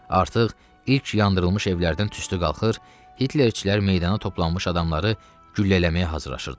Artıq ilk yandırılmış evlərdən tüstü qalxır, Hitlerçilər meydana toplanmış adamları güllələməyə hazırlaşırdılar.